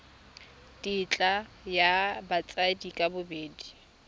tetla ya batsadi ka bobedi